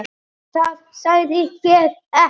Það sagði ég ekki